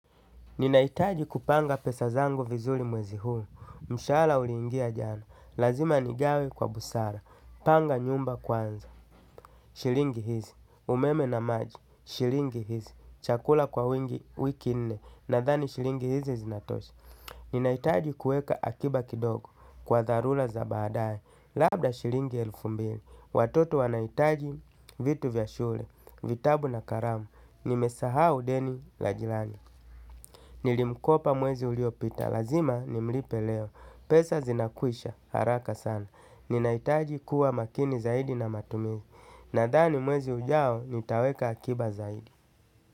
Ninaitaji kupanga pesa zangu vizuli mwezi huu, mshahala ulingia jana, lazima nigawe kwa busara, panga nyumba kwanza, shilingi hizi, umeme na maji, shilingi hizi, chakula kwa wingi wiki nne, nadhani shilingi hizi zinatosha. Ninaitaji kuweka akiba kidogo kwa dharura za baadae, labda shilingi elfu mbili, watoto wanaitaji vitu vya shule, vitabu na karamu, nimesahau deni la jirani. Nilimkopa mwezi uliopita, lazima ni mlipe leo. Pesa zinakuisha, haraka sana. Ninaitaji kuwa makini zaidi na matumizi. Nadhani mwezi ujao, nitaweka akiba zaidi.